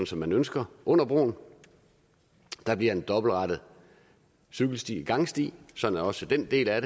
som man ønsker under broen der bliver en dobbeltrettet cykelstigangsti sådan at også den del af